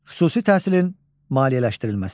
Xüsusi təhsilin maliyyələşdirilməsi.